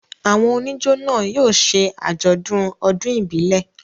Àwọn oníjó náà yóò ṣe àjọ̀dún ọdún ìbílẹ̀.